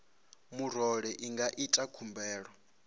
murole i nga ita khumbelo